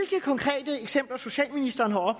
konkrete eksempler socialministeren har